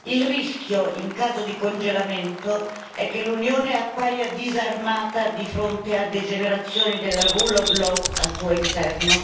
Il rischio, in caso di congelamento, è che l'Unione appaia disarmata di fronte a degenerazioni del Rule of Law al suo interno.